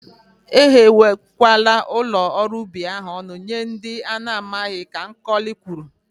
E ghewe kwala ụlọ ọrụ ubi ahụ ọnụ nye ndị ana amaghị, Ka Nkọli kwuru.